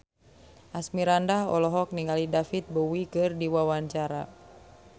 Asmirandah olohok ningali David Bowie keur diwawancara